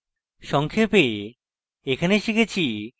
সংক্ষেপে in tutorial শিখেছি